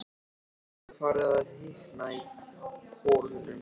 Nú er farið að hitna í kolunum.